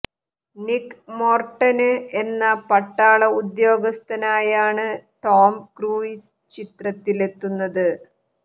നിക്ക് Morton എന്ന പട്ടാള ഉദ്യോഗസ്ഥനായാണ് ടോം ക്രൂയിസ് ചിത്രത്തിലെത്തുന്നത്